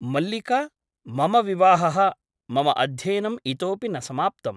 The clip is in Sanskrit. मल्लिका मम विवाहः ! मम अध्ययनम् इतोऽपि न समाप्तम् ।